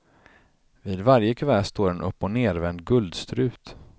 Vid varje kuvert står en uppochnervänd guldstrut.